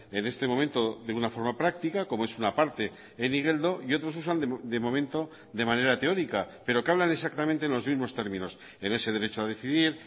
en este momento de una forma práctica como es una parte en igeldo y otros usan de momento de manera teórica pero que hablan exactamente en los mismos términos en ese derecho a decidir